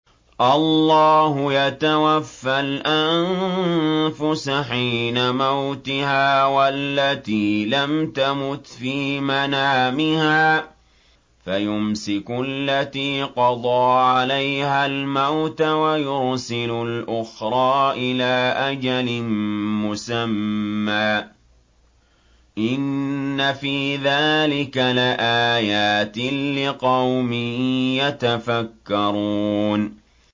اللَّهُ يَتَوَفَّى الْأَنفُسَ حِينَ مَوْتِهَا وَالَّتِي لَمْ تَمُتْ فِي مَنَامِهَا ۖ فَيُمْسِكُ الَّتِي قَضَىٰ عَلَيْهَا الْمَوْتَ وَيُرْسِلُ الْأُخْرَىٰ إِلَىٰ أَجَلٍ مُّسَمًّى ۚ إِنَّ فِي ذَٰلِكَ لَآيَاتٍ لِّقَوْمٍ يَتَفَكَّرُونَ